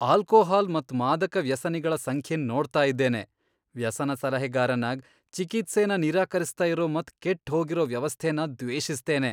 Alcohol ಮತ್ ಮಾದಕ ವ್ಯಸನಿಗಳ ಸಂಖ್ಯೆನ್ ನೋಡ್ತಾ ಇದ್ದೇನೆ ವ್ಯಸನ ಸಲಹೆಗಾರನಾಗ್, ಚಿಕಿತ್ಸೆನ ನಿರಾಕರಿಸ್ತಾ ಇರೋ ಮತ್ ಕೆಟ್ ಹೋಗಿರೋ ವ್ಯವಸ್ಥೆನ ದ್ವೇಷಿಸ್ತೇನೆ.